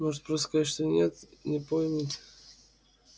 может просто сказать что нет не помнит